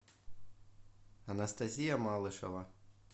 анастасия малышева